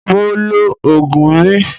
Mo lo oògùn mi